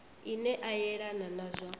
ine a yelana na zwa